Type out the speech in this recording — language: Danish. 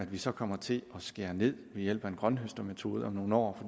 vi så kommer til at skære ned ved hjælp af en grønthøstermetode om nogle år